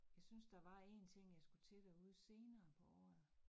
Jeg synes, der var én ting jeg skulle til derude senere på året